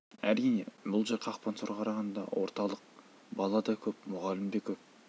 әрине бұл жер қақпансорға қарағанда орталық бала да көп мұғалім де көп